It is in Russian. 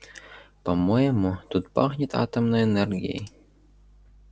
по-моему тут пахнет атомной энергией